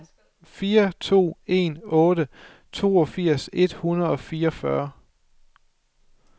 fire to en otte toogfirs et hundrede og fireogfyrre